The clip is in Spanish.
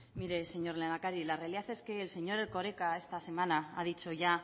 mire señor lehendakari la realidad es que el señor erkoreka esta semana ha dicho ya